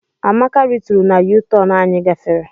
Amaka rituru na U-turn anyị gafere.